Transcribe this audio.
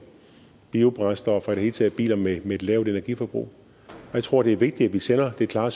biobrændstof og i det hele taget biler med et lavt energiforbrug jeg tror det er vigtigt at vi sender det klare